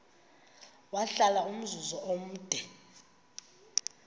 wahlala umzum omde